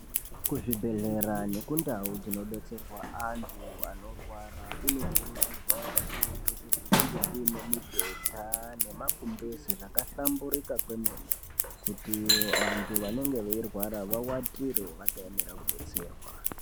Kuzvibhehlera nekundau dzino betserwa anhu anorwara kunokurudzirwa kakurutu kuti kunge kune mibhedha nemagumbeze zvakahlamburika kwemene kuti vanhu vanenge veirwara vawatire vakaemera kubetserwa.